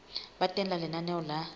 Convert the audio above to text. ba teng ha lenaneo la